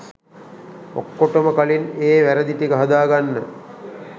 ඔක්කොටොම කලින් ඒ වැරදි ටික හදාගන්න